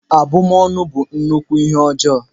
Abụmọnụ bụ nnukwu ihe ọjọọ